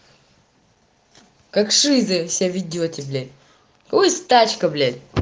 как шизы себя ведёте блять у кого есть тачка блять